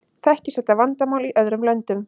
Þekkist þetta vandamál í öðrum löndum?